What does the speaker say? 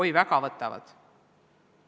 Oi, väga võtavad!